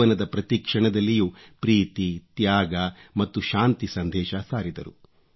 ಜೀವನದ ಪ್ರತಿ ಕ್ಷಣದಲ್ಲಿಯೂ ಪ್ರೀತಿ ತ್ಯಾಗ ಮತ್ತು ಶಾಂತಿ ಸಂದೇಶ ಸಾರಿದರು